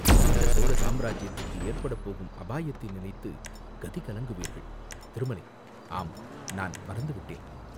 இந்தச் சோழ சாம்ராஜ்யத்துக்கு ஏற்படப்போகும் அபாயத்தை நினைத்துக் கதிகலங்குவீர்கள், திருமலை, ஆம், நான் மறந்துவிட்டேன்.